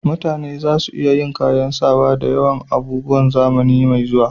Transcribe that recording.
Mutane za su iya kayan sawa da yawan abubuwa a zamani mai zuwa